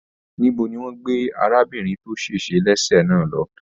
Níbo ní wọn gbé arábìnrin to se lese náà lọ?